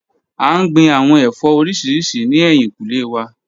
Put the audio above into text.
A n gbin awọn ẹfọ oriṣiriṣi ni ẹhin kule wa.